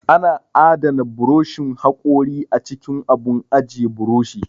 Ana adana buroshin haƙori a cikin abun ajiye buroshi